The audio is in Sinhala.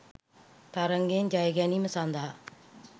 තරගයෙන් ජයගැනීම සඳහා